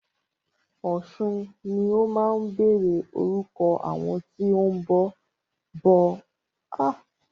Ọ̀sun ni ó máa ń bẹ̀rẹ̀ orúkọ àwọn tí o ń bọ ọ̀ṣun, àpẹẹrẹ Ọ̀ṣuntókẹ́.